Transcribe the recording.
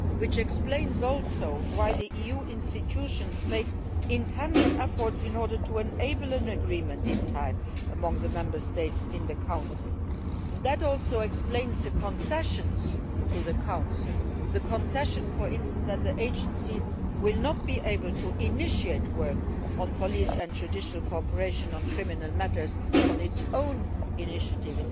This also explains why the EU institutions made intense efforts in order to enable an agreement to be reached on time among the Member States in the Council. That also explains the concessions to the Council. The concession, for example, that the Agency will not be able to initiate work on police and judicial cooperation on criminal matters on its own initiative.